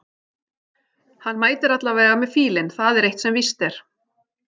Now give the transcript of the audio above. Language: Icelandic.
Hann mætir allavega með fílinn það er eitt sem víst er.